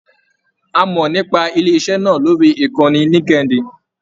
A mọ nípa ilé iṣẹ náà lórí ìkànnì Linkedin.